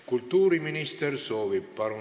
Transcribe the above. Kultuuriminister soovib sõna võtta.